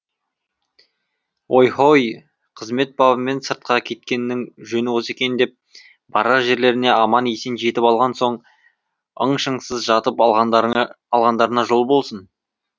ой хой қызмет бабымен сыртқа кеткеннің жөні осы екен деп барар жерлеріне аман есен жетіп алған соң ың шыңсыз жатып алғандарына жол болсын